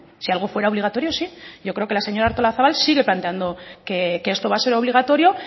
si algo fuera obligatorio sí yo creo que la señora artolazabal sigue planteando que esto va a ser obligatorio